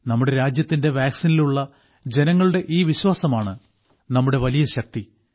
നമ്മുടെ രാജ്യത്തിന്റെ വാക്സിനിലുള്ള ജനങ്ങളുടെ ഈ വിശ്വാസമാണ് നമ്മുടെ വലിയ ശക്തി